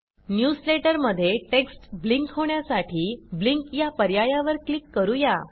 newsletter मध्ये text blink होण्यासाठी blink या पर्यायावर क्लिक करू या